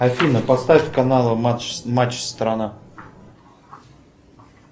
афина поставь каналы матч страна